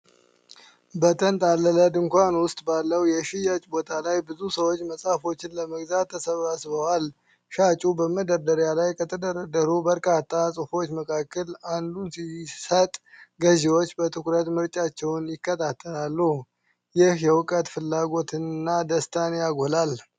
በተንጣለለ ድንኳን ውስጥ ባለው የሽያጭ ቦታ ላይ ብዙ ሰዎች መጽሐፎችን ለመግዛት ተሰብስበዋል። ሻጩ በመደርደሪያ ላይ ከተደረደሩት በርካታ መጽሐፎች መካከል አንዱን ሲሰጥ፣ ገዢዎች በትኩረት ምርጫቸውን ይከታተላሉ፤ ይህ የእውቀት ፍላጎትንና ደስታን ያጎላል።